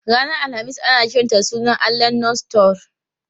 Ranar Alhamis ana kiranta da sunan allahn Norse Thor.